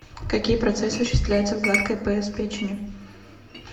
какие процессы осуществляются в гладкой эпс печени